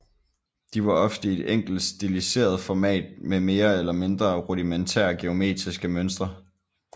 De var ofte i et enkelt stiliseret format med mere eller mindre rudimentære geometriske mønstre